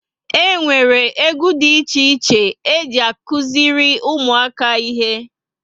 E nwere égwu dị iche iche e ji akuziri ụmụaka ihe